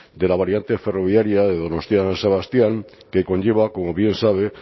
de la variante ferroviaria de donostia san sebastián que conlleva como bien sabe